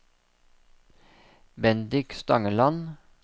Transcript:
Bendik Stangeland